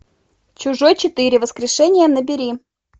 чужой четыре воскрешение набери